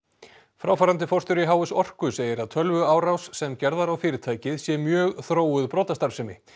fráfarandi forstjóri h s orku segir að tölvuárás sem gerð var á fyrirtækið sé mjög þróuð brotastarfsemi